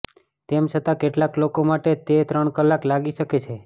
તેમ છતાં કેટલાક લોકો માટે તે ત્રણ કલાક લાગી શકે છે